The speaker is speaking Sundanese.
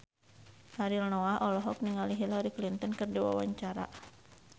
Ariel Noah olohok ningali Hillary Clinton keur diwawancara